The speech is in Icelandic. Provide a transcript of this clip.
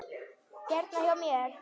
Hérna hjá mér.